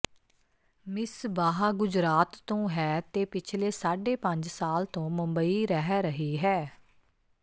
ਮਿਸਬਾਹ ਗੁਜਰਾਤ ਤੋਂ ਹੈ ਤੇ ਪਿਛਲੇ ਸਾਢੇ ਪੰਜ ਸਾਲ ਤੋਂ ਮੁੰਬਈ ਰਹਿ ਰਹੀ ਹੈ